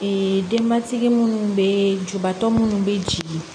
denbatigi munnu be jubaatɔ minnu be jigin